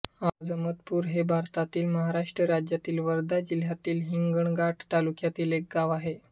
आजमतपूर हे भारतातील महाराष्ट्र राज्यातील वर्धा जिल्ह्यातील हिंगणघाट तालुक्यातील एक गाव आहे